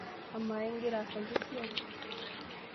Amaa igira aasaki esiai?